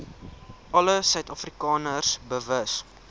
alle suidafrikaners bewus